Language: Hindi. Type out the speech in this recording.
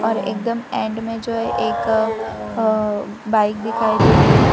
और एकदम एंड में जो एक अ बाइक दिखाई दे रही है।